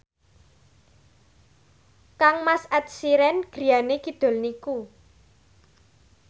kangmas Ed Sheeran griyane kidul niku